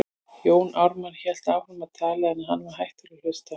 Jón Ármann hélt áfram að tala, en hann var hættur að hlusta.